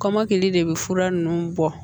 Kɔmɔkili de bɛ fura ninnu bɔ